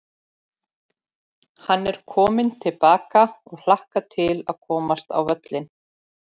Hann er kominn til baka og hlakkar til að komast á völlinn.